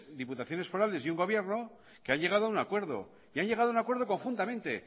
diputaciones forales y un gobierno que han llegado a un acuerdo y han llegado a un acuerdo conjuntamente